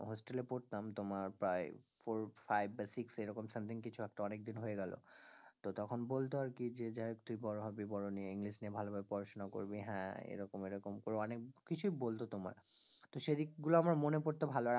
Hostel এ পড়তাম তোমার প্রায় four five বা six এরকম something কিছু একটা অনেকদিন হয়ে গেল, তো তখন বলতো আর কি যে যাই হোক তুই বড় হবি, বড় নিয়ে english নিয়ে ভালোভাবে পড়াশোনা করবি, হ্যাঁ এরকম এরকম করে অনেক কিছুই বলতো তোমার, তো সে দিক গুলো আমার মনে পড়ত ভালো